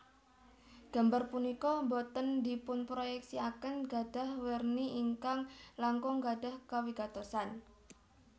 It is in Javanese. Gambar punika boten dipunproyeksiaken gadhah werni ingkang langkung gadhah kawigatosan